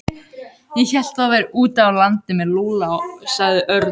Ég hélt að þú værir úti á landi með Lúlla sagði Örn.